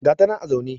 ga ta nan a zaune